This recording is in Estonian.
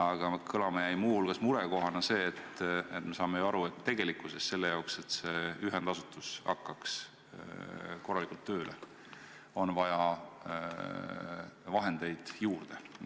Aga murekohana jäi kõlama muu hulgas see, et me saame ju aru, et tegelikkuses on selle jaoks, et see ühendasutus hakkaks korralikult tööle, vahendeid juurde vaja.